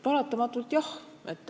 Paratamatult jah.